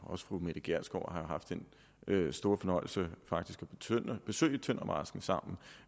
også fru mette gjerskov har jo haft den store fornøjelse faktisk at besøge tøndermarsken sammen